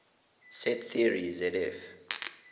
set theory zf